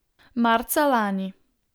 Marca lani.